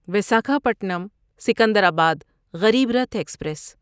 Visakhapatnam Secunderabad Garib Rath express